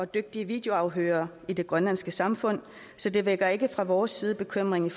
dygtige videoafhørere i det grønlandske samfund så det vækker ikke fra vores side bekymring